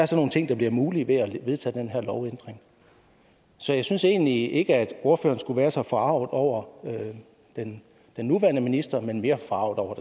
så nogle ting der bliver mulige ved at vedtage den her lovændring så jeg synes egentlig ikke at ordføreren skulle være så forarget over den nuværende minister men mere forarget over